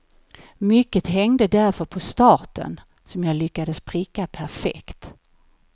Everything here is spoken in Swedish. Mycket hängde därför på starten, som jag lyckades pricka perfekt.